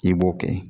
I b'o kɛ